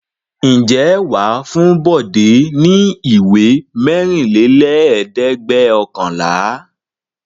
Ǹjẹ́ wà á fún Bọ̀dé ní ìwé mẹ́rìnlélẹ́ẹ̀dẹ́gbẹ̀ọ̀kànlá?